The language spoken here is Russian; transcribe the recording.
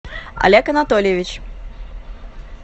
олег анатольевич